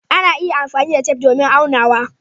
Ana iya amfani da tef don aunawa.